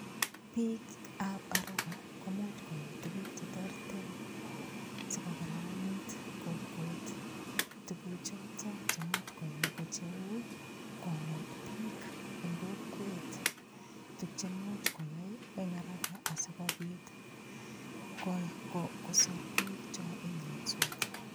Piikab haraka komuuch koyai tukuk cheterter sikokararanit kokwet tukuchoto chemuch koyai ko cheu konet piik eng' kokwet tukche muuch koyai eng' haraka asikobit kosor piik cho imiyonsot